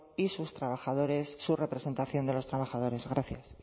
y sus trabajadores su representación de los trabajadores gracias